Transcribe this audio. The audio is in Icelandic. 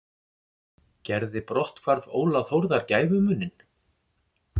Gerði brotthvarf Óla Þórðar gæfumuninn?